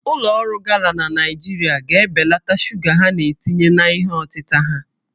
Ụlọ ọrụ Gala na Naịjirịa ga-ebelata shuga ha na-etinye na ihe ọtịta ha